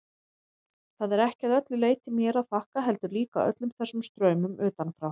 Það er ekki að öllu leyti mér að þakka, heldur líka öllum þessum straumum utanfrá.